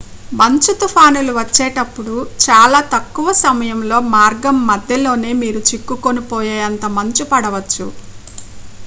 మంచు తుఫానుల వచ్చేటప్పుడు చాలా తక్కువ సమయంలో మార్గం మధ్యలోనే మీరు చిక్కుకుపోయేంత మంచు పడవచ్చు